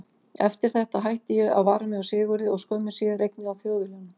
Eftir þetta hætti ég að vara mig á Sigurði og skömmu síðar einnig á Þjóðviljanum.